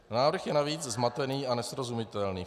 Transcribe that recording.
Návrh je navíc zmatený a nesrozumitelný.